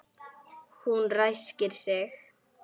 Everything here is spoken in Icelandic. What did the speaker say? Hún ræskir sig.